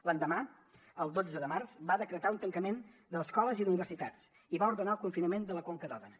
l’endemà el dotze de març va decretar un tancament d’escoles i d’universitats i va ordenar el confinament de la conca d’òdena